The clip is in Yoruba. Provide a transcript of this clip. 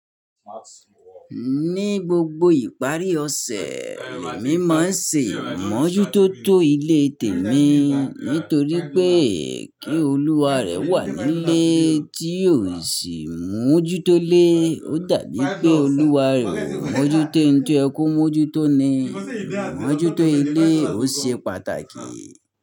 Ní gbogbo ìparí ọ̀sẹ̀, le mí máa ń se imọ́jútóto ilé tèmi nítorí pé kí olúwa rẹ̀ wà nílé tí óò sì mójútó lé. Ó dàbí pé olúwa rẹ̀ ó mójútó nǹkan tó yẹ mọ́jútó ni. Mójútó ilé ò ṣe pàtàkì.